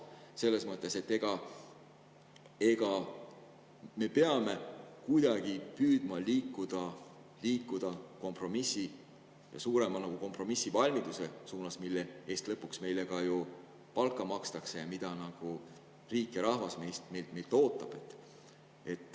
Selles mõttes me peame kuidagi püüdma liikuda suurema kompromissivalmiduse suunas, mille eest lõpuks meile ka ju palka makstakse ja mida riik ja rahvas meilt ootavad.